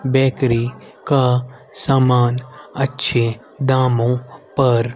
bakery का सामान अच्छे दामों पर--